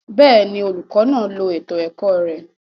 Bẹẹni, olukọ naa lo eto ẹkọ rẹ